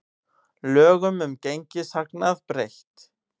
Lögum um gengishagnað breytt